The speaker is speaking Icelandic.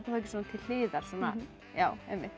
ekki svona til hliðar já